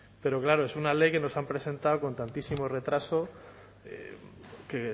pero claro es una ley que nos han presentado con tantísimo retraso que